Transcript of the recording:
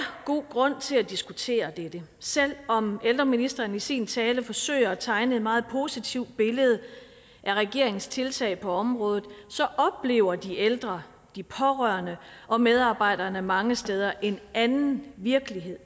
god grund til at diskutere dette selv om ældreministeren i sin tale forsøger at tegne et meget positivt billede af regeringens tiltag på området så oplever de ældre de pårørende og medarbejderne mange steder en anden virkelighed